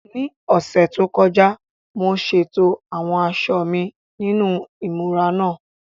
Ní ọ̀sẹ̀ tó kọjá, mo ṣètò àwọn aṣọ mi nínú ìmúra náà.